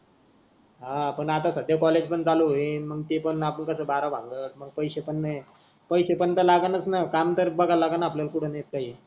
हा पण आता सद्या कॉलेज पण चालू होईन मंग ते पण आपण कस बारा भानगड मंग पैसे पण नाही पैसे पण त लागणच न काम करत बघा लागल आपल्याला कुठ नाही काही,